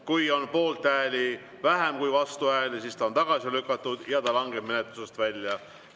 Kui on poolthääli vähem kui vastuhääli, siis on eelnõu tagasi lükatud ja langeb menetlusest välja.